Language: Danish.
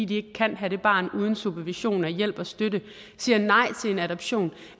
de ikke kan have det barn uden supervision og hjælp og støtte siger nej til en adoption